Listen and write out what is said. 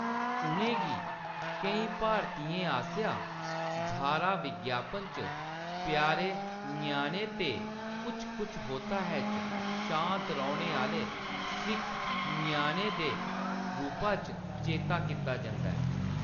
उʼनें गी केईं भारतियें आस्सेआं धारा विज्ञापन च प्यारे ञ्याने ते कुछ कुछ होता है च शांत रौह्‌‌‌ने आह्‌‌‌ले सिख ञ्याणे दे रूपा च चेता कीता जंदा ऐ।